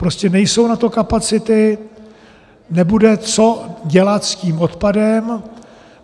Prostě nejsou na to kapacity, nebude co dělat s tím odpadem.